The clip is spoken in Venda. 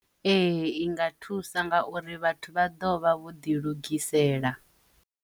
Ee, i nga thusa nga uri vhathu vha ḓo vha vho ḓi lugisela.